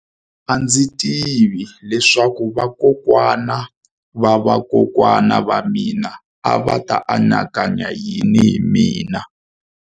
A ndzi tivi leswaku vakokwana-va-vakokwana va mina a va ta anakanya yini hi mina.